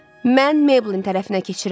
Mən Mabelin tərəfinə keçirəm.